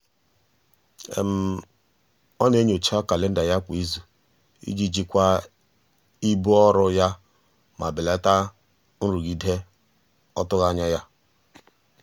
ọ na-enyocha kalenda ya kwa izu iji jikwaa ibu ọrụ ya ma belata nrụgide ọtụghị anya ya.